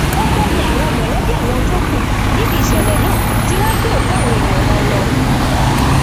ọpẹ ni àwọn mọlẹbí àwọn tó kù níbi ìṣẹlẹ náà ti wàá gbé òkú àwọn èèyàn wọn lọ